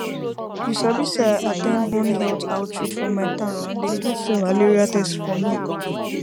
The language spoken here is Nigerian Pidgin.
you sabi say i at ten d one health outreach for my town and dem do free malaria test for me